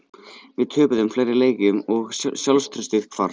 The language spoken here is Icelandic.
Við töpuðum fleiri leikjum og sjálfstraustið hvarf.